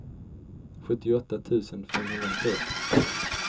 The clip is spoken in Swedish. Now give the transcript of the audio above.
sjuttioåtta tusen femhundrafyrtio